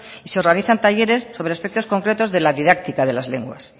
y se organizan talleres sobre aspectos concretos de la didáctica de las lenguas